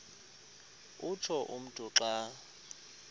utsho umntu xa